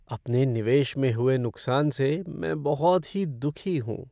अपने निवेश में हुए नुकसान से मैं बहुत ही दुखी हूँ।